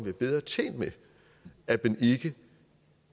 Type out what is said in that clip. er bedre tjent med at man ikke